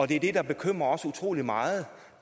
det er det der bekymrer os utrolig meget